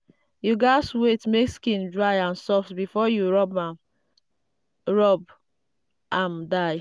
you gatz wait make skin dry and soft before you rub rub am dye.